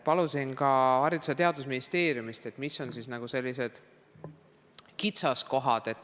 Palusin teavet ka Haridus- ja Teadusministeeriumist, et mis on siis kitsaskohad.